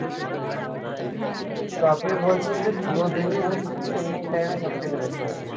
আচ্ছা আপনি বলছেন যে পুরোদিনই হচ্ছে কিন্তু evening time এ সব থেকে বেশি হচ্ছে